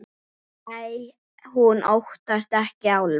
Nei, hún óttast ekki álfa.